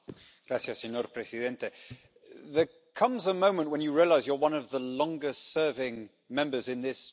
Mr President, there comes a moment when you realise you're one of the longest serving Members in this Chamber.